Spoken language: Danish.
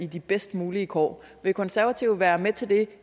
de bedst mulige kår vil konservative være med til det